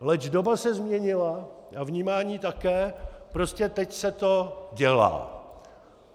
Leč doba se změnila a vnímání také, prostě teď se to dělá.